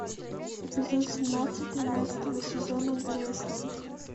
эпизод семнадцать тринадцатого сезона грейсленд